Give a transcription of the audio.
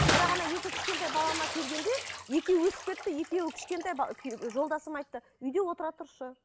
бірақ ана екі кішкентай балама келгенде екеуі өсіп кетті екеуі кішкентай жолдасым айтты үйде отыра тұршы